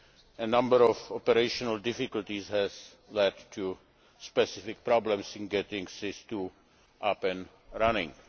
A number of operational difficulties have led to specific problems in getting SIS II up and running.